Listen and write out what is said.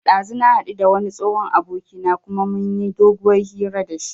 Ɗazu na haɗu da wani tsohon abokina kuma mun yi doguwar hira da shi